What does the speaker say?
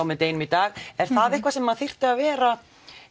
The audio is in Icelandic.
með deginum í dag er það eitthvað sem þyrfti að vera